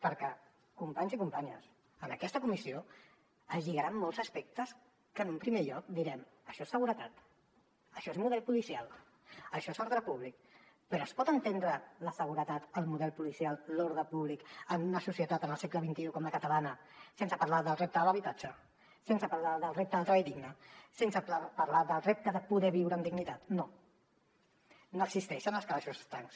perquè companys i companyes en aquesta comissió es lligaran molts aspectes que en un primer lloc direm això és seguretat això és model policial això és d’ordre públic però es pot entendre la seguretat el model policial l’ordre públic en una societat en el segle xxi com la catalana sense parlar del repte de l’habitatge sense parlar del repte del treball digne sense parlar del repte de poder viure amb dignitat no no existeixen els calaixos estancs